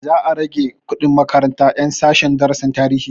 Za a rage kuɗin makarantar ƴan sashen darasin tarihi